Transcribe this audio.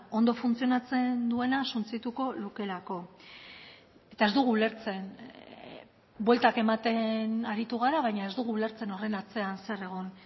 ondo funtzionatzen duena suntsituko lukeelako eta ez dugu ulertzen bueltak ematen aritu gara baina ez dugu ulertzen horren atzean zer egon